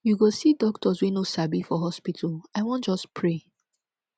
you go see doctors wey no sabi for hospital i wan just pray